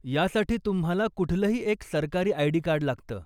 यासाठी तुम्हाला कुठलंही एक सरकारी आय.डी. कार्ड लागतं.